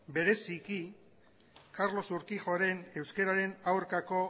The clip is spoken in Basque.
bereziki carlos urquijoren euskararen aurkako